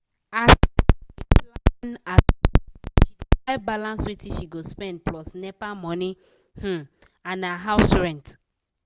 as sarah dey plan her salary she dey try balance wetin she go spend plus nepa money um and house rent.